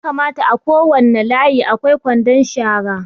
Ya kamata a kowane layi a kwai kwandon shara